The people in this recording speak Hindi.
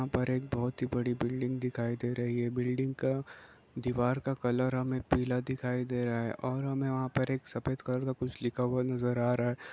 यहाँ पर एक बहोत ही बड़ी बिल्डिंग दिखाई दे रही है बिल्डिंग का दीवार का कलर हमे पीला दिखाई दे रहा है और हमे वहाँ पर एक सफेद कलर का कुछ लिखा नज़र आ रहा है।